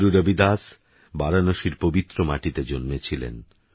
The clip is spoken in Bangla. গুরুরবিদাসবারাণসীরপবিত্রমাটিতেজন্মেছিলেন